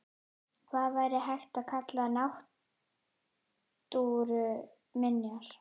Hvað væri hægt að kalla náttúruminjar?